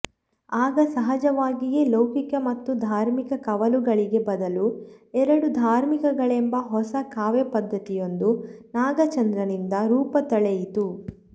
ಆಗ ಸಹಜವಾಗಿಯೇ ಲೌಕಿಕ ಮತ್ತು ಧಾರ್ಮಿಕ ಕವಲುಗಳಿಗೆ ಬದಲು ಎರಡೂ ಧಾರ್ಮಿಕಗಳೆಂಬ ಹೊಸ ಕಾವ್ಯಪದ್ಧತಿಯೊಂದು ನಾಗಚಂದ್ರನಿಂದ ರೂಪತಳೆಯಿತು